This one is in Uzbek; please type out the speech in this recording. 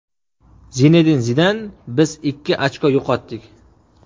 Zinedin Zidan: Biz ikki ochko yo‘qotdik !